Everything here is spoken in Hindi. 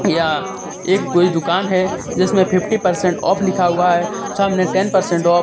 यहां एक कोई दुकान है जिसमें फिफ्टी परसेंट ओफ लिखा हुआ है सामने टेन परसेंट ओफ ।